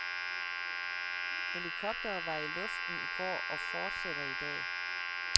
Helikoptere var i luften i går og fortsætter i dag.